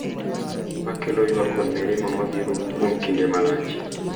Makelo ywak kod mirima ma biro kuom kinde malach.